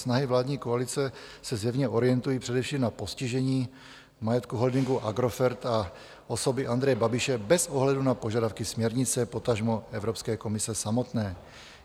Snahy vládní koalice se zjevně orientují především na postižení majetku holdingu Agrofert a osoby Andreje Babiše bez ohledu na požadavky směrnice, potažmo Evropské komise samotné.